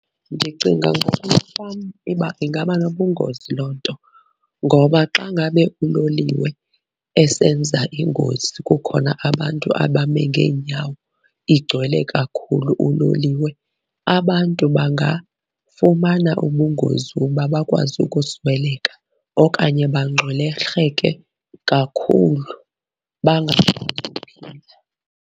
Ndicinga ngoku uba ingaba nobungozi loo nto ngoba xa ngabe uloliwe esenza ingozi kukhona abantu abame ngeenyawo, igcwele kakhulu uloliwe, abantu bangafumana ubungozi uba bakwazi ukusweleka. Okanye bangxwelerheke kakhulu bangakwazi uphila.